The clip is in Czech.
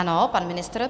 Ano, pan ministr.